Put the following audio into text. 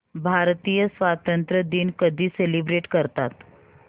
भारतीय स्वातंत्र्य दिन कधी सेलिब्रेट करतात